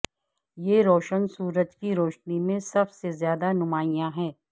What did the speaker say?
یہ روشن سورج کی روشنی میں سب سے زیادہ نمایاں ہے